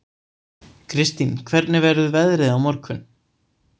Kirstín, hvernig verður veðrið á morgun?